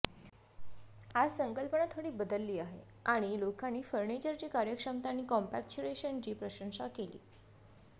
आज संकल्पना थोडी बदलली आहे आणि लोकांनी फर्निचरची कार्यक्षमता आणि कॉम्पॅक्चरेशनची प्रशंसा केली